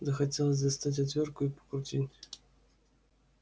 захотелось достать отвёртку и подкрутить